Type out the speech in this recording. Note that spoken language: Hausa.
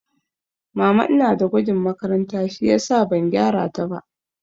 Mama ina da gwajin makaranta shiyasa ban gyara ta ba